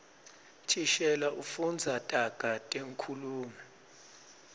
thishela ufundza taga tenkhulumo